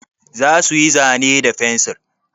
Za su yi zane da fensir?